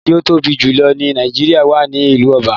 Oja ti o tobi julọ ni Naijiria wa ni ilu Aba